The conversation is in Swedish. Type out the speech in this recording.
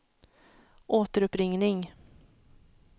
återuppringning